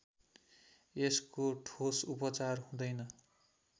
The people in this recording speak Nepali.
यसको ठोस उपचार हुँदैन